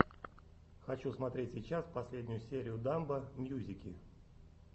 хочу смотреть сейчас последнюю серию дамбо мьюзики